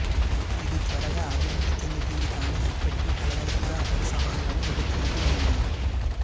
ఇది త్వరగా అభివృద్ధి చెందుతోంది కానీ ఇప్పటికీ కలగలుపుగా పలు సవాళ్లను ఎదుర్కొంటూ ఉంది